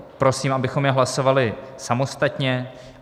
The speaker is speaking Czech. Prosím, abychom je hlasovali samostatně.